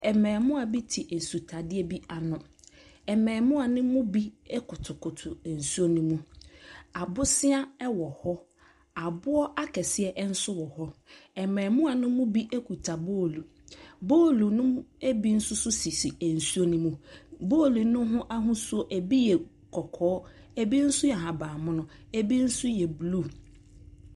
Mmaamua bi te esutadeɛ bi ano. Mmaamua no mu bi kotokoto nsuo no mu. Abosea wɔ hɔ. Aboɔ akɛseɛ nso wɔ hɔ. Mmaamua no mu bi kuta boolu. Boolu no bi nso so sisi nsuo no mu. Boolu no ho ahosuo, ebi yɛ kɔkɔɔ, ebi nso yɛ ahaban mono, ebi nso yɛ blue.